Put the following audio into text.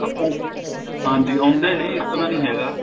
ਹਾਂਜੀ ਆਉਂਦੇ ਨੇ ਇਸ ਤਰ੍ਹਾਂ ਨਹੀਂ ਹੈਗਾ